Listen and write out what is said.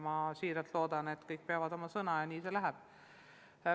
Ma väga loodan, et kõik peavad sõna ja nii see läheb.